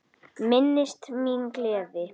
Minnist mín með gleði.